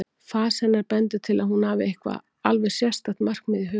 Fas hennar bendir til að hún hafi eitthvert alveg sérstakt markmið í huga.